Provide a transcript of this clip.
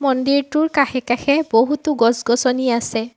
মন্দিৰটোৰ কাষে কাষে বহুতো গছ-গছনি আছে।